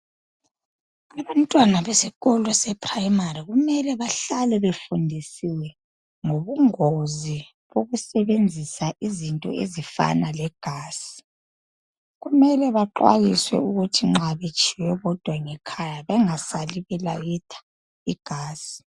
Abantwana besikolo sePrimary kumele behlale befundisiwe ngobungozi bokusebenzisa izinto ezifana legas kumele bexwayiswe ukuthi nxa betshiwe bodwa ngekhaya bengasali belayitha igasi.